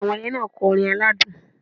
Àwọn ẹyẹ náà kọrin aládùn